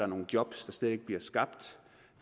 nogle jobs der slet ikke bliver skabt